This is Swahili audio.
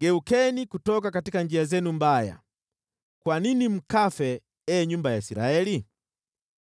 Geukeni kutoka njia zenu mbaya! Kwa nini mkafe, ee nyumba ya Israeli?’